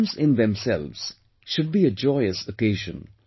Exams in themselves, should be a joyous occasion